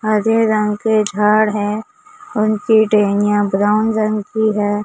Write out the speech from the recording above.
हरे रंग के झाड़ हैं उनकी टहनियां ब्राउन रंग की हैं।